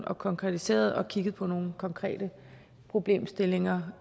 og konkretiseret og kigget på nogle konkrete problemstillinger